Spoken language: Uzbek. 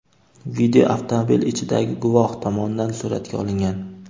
Video avtomobil ichidagi guvoh tomonidan suratga olingan.